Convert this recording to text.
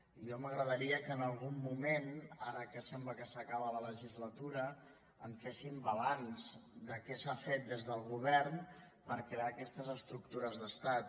i a mi m’agradaria que en algun moment ara que sembla que s’acaba la legislatura en féssim balanç de què s’ha fet des del govern per crear aquestes estructures d’estat